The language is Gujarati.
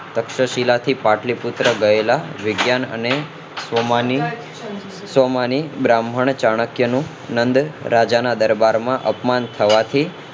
તક્ષશિલા ની પાટલી પુત્ર ગયેલા વિજ્ઞાન અને સ્વમાની સ્વમાની બ્રાહ્મણ ચાણક્ય નું નંદ રાજા ના દરબારમાં અપમાન થવાથી